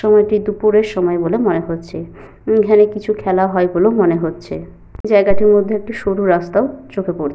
সময়টি দুপুরের সময় বলে মনে হচ্ছে। এখানে কিছু খেলা হয় বলে মনে হচ্ছে। জায়গাটির মধ্যে একটি সরু রাস্তাও চোখে পড়ছে।